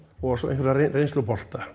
og svo einhverja reynslubolta